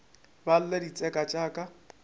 ba lle ditseka tša ka